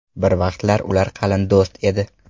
Bir vaqtlar ular qalin do‘st edi.